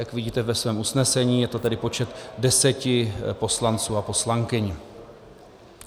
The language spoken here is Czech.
Jak vidíte ve svém usnesení, je to tedy počet deseti poslanců a poslankyň.